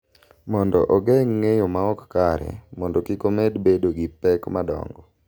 Mondo ogeng’ ng’eyo ma ok kare mondo kik omed bedo gi pek madongo.